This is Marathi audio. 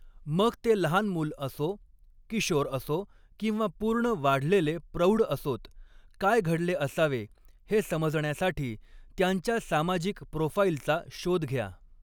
मग ते लहान मूल असो, किशोर असो किंवा पूर्ण वाढलेले प्रौढ असोत, काय घडले असावे हे समजण्यासाठी त्यांच्या सामाजिक प्रोफाइलचा शोध घ्या.